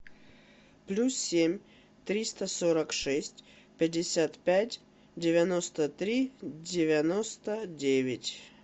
плюс семь триста сорок шесть пятьдесят пять девяносто три девяносто девять